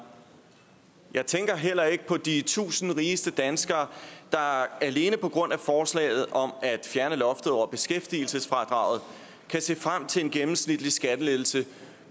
jeg tænker heller ikke på de tusind rigeste danskere der alene på grund af forslaget om at fjerne loftet over beskæftigelsesfradraget kan se frem til en gennemsnitlig skattelettelse